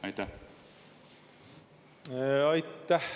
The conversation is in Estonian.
Aitäh!